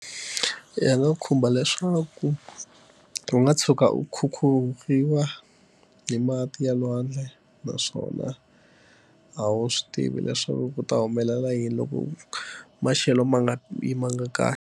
Ya nga khumba leswaku u nga tshuka u khukhuriwa hi mati ya lwandle naswona a wu swi tivi leswaku ku ta humelela yini loko maxelo ma nga yimanga kahle.